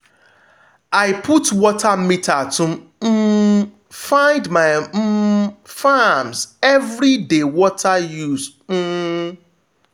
i put water meter to um find my um farms every dey water used. um